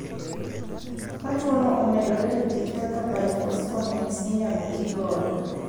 Ka tuo no omedore to thieth kaka bisphosphonates inyalo ti godo.